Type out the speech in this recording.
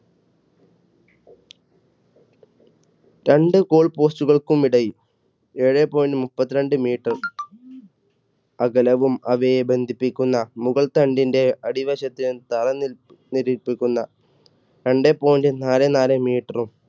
രണ്ട് goal post കൾക്കും ഇടയിൽ ഏഴേ point മുപ്പത്തി രണ്ട് meter അകലവും അവയെ ബന്ധിപ്പിക്കുന്ന മുകൾ തണ്ടിന്റെ അടിവശത്ത് രണ്ടേ point നാലേ നാല് meter ഉം